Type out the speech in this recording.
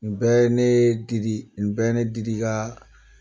N bɛɛ ne Didi ni bɛɛ ne Didi ka